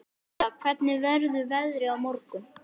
Nadia, hvernig verður veðrið á morgun?